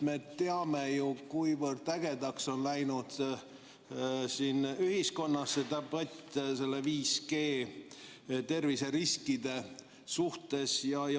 Me teame ju, kuivõrd ägedaks on läinud ühiskonnas debatt 5G-ga seotud terviseriskide üle.